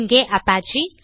இங்கே அபச்சே